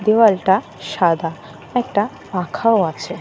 দেয়ালটা সাদা। একটা পাখাও আছে।